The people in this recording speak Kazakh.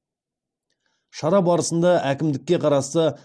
шара барысында әкімдікке қарасты